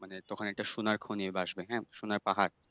মানে তখন একটা সোনার খনী ভাসবে হ্যাঁ সোনার পাহাড়।